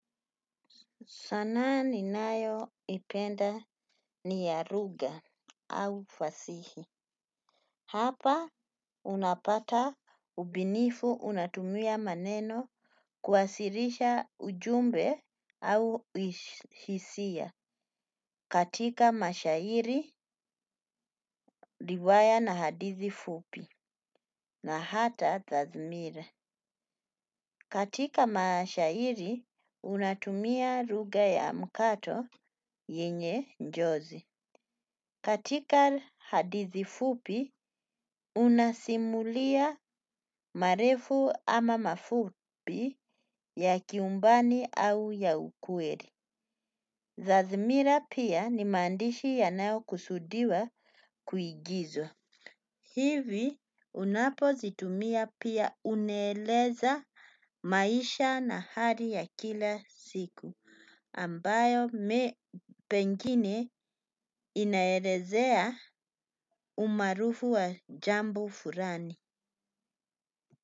Sanaa ninayo ipenda ni ya lugha au fasihi. Hapa unapata ubunifu unatumia maneno kuwasilisha ujumbe au hisia katika mashairi riwaya na hadithi fupi na hata tazmire. Katika mashairi unatumia lugha ya mkato yenye njozi. Katika hadithi fupi, unasimulia marefu ama mafupi ya kiumbani au ya ukweli. Zazimira pia ni maandishi yanayo kusudiwa kuigizwa. Hivi unapozitumia pia unaeleza maisha na hali ya kila siku ambayo pengine inaelezea umaarufu wa jambo fulani.